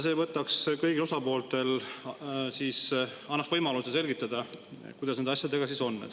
See annaks kõigile osapooltele võimaluse selgitada, kuidas nende asjadega siis on.